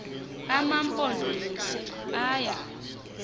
ama mpondomise aya